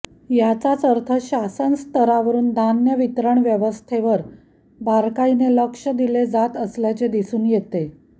याचाच अर्थ शासन स्तरावरून धान्य वितरण व्यवस्थेवर बारकाईने लक्ष दिले जात असल्याचे दिसून येते